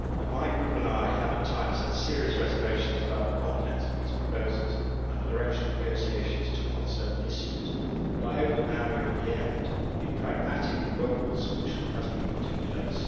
My Group and I have at times had serious reservations about the content of these proposals and the direction negotiations took on certain issues, but I hope that, now we are at the end, a pragmatic and workable solution has been put in place.